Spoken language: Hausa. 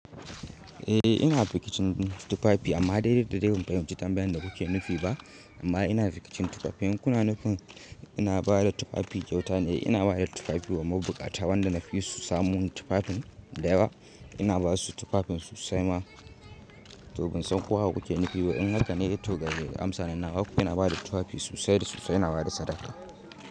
Eh ina rikicin tufafi amma daidai da dai ban bincika tambayan da kuke nufi ba amma ina rikicin tufafi. Kunnanufi ina bada tufafi kyauta ne? Ina bada tufafi wa mabukata wanda nafi su samu tufafin da yawa. Ina basu tufafin su sai ma to bansan ko haka kuke nufi. In haka ne to gaskiya amsa na nawa. Ko ina bada tufafi su saye da su sai na bada sadaka.